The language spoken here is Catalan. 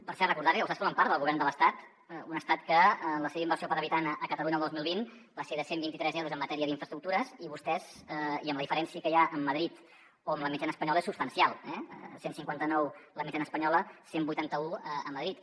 per cert recordar li que vostès formen part del govern de l’estat un estat que la seva inversió per habitant a catalunya el dos mil vint va ser de cent i vint tres euros en matèria d’infraestructures i la diferència que hi ha amb madrid o amb la mitjana espanyola és substancial eh cent i cinquanta nou la mitjana espanyola cent i vuitanta un a madrid